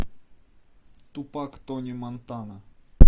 тупак тони монтана